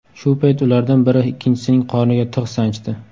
Shu payt ulardan biri ikkinchisining qorniga tig‘ sanchdi.